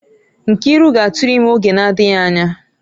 Nkiru ga-atụrụ ime oge na-adịghị anya